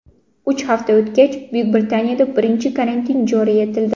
Uch hafta o‘tgach, Buyuk Britaniyada birinchi karantin joriy etildi.